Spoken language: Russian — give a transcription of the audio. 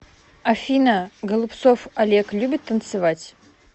афина голубцов олег любит танцевать